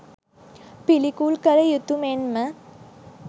පිළිකුල් කළ යුතු මෙන්ම